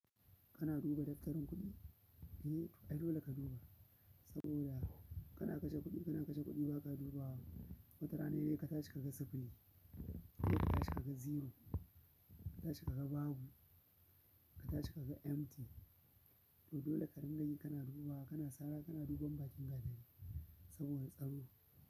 Kana duba tattarin kuɗi? Eh, ai dole ka duba. Saboda kana kashe kuɗi, kana kashe kuɗi ba ka dubawa. Wata rana sai ka tashi ka ga sipili, ka tashi ka ga zero, ka tashi ka ga babu, ka tashi ka ga empty. To dole ka dinga yi kana dubawa, kana sara kana duban bakin gadon saboda tsaro.